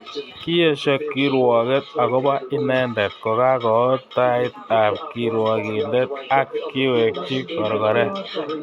Kiesho kirwoket akobo inendet kokakoot tait ab kirwokindet ak kiwekchi korkoret